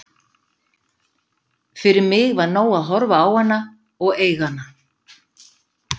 Fyrir mig var nóg að horfa á hana og eiga hana.